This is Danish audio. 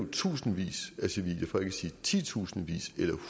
i tusindvis af civile for ikke at sige titusindvis eller